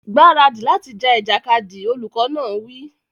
Gbáradì láti ja ìjàkadì! Olùkọ́ náà wí.